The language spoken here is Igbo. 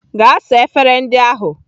Gaa saa efere ndị ahụ!